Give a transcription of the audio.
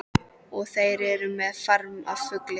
Og þeir eru með farm af fugli.